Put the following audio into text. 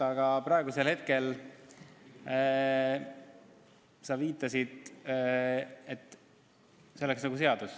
Aga praegusel hetkel sa nagu viitasid, et see on juba seadus.